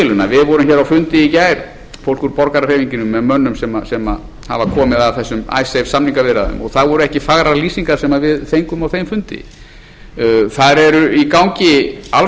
deiluna við vorum hér á fundi í gær fólk úr borgarahreyfingunni með mönnum sem hafa komið að þessum icesave samningaviðræðum og það voru ekki fagrar lýsingar sem við fengum á þeim fundi þar eru í gangi alls